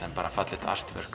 bara fallegt